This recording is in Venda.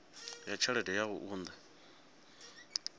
wa tshelede ya u unḓa